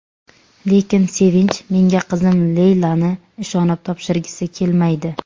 Lekin Sevinch menga qizim Leylani ishonib topshirgisi kelmaydi.